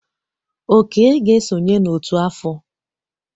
Oke ga-esonye n'ọtú afọ.